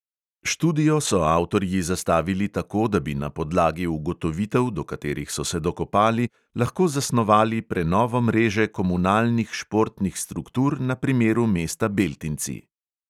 Študijo so avtorji zastavili tako, da bi na podlagi ugotovitev, do katerih so se dokopali, lahko zasnovali prenovo mreže komunalnih športnih struktur na primeru mesta beltinci.